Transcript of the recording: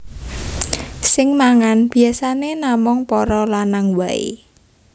Sing mangan biyasané namung para lanang waé